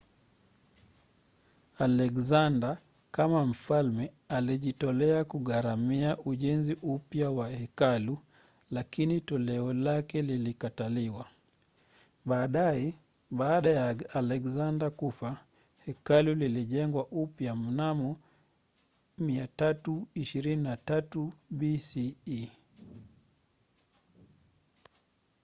alexander kama mfalme alijitolea kugharimia ujenzi upya wa hekalu lakini toleo lake lilikataliwa. baadaye baada ya alexander kufa hekalu lilijengwa upya mnamo 323 bce